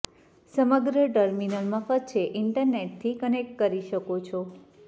સમગ્ર ટર્મિનલ મફત છે ઇન્ટરનેટથી કનેક્ટ કરી શકો છો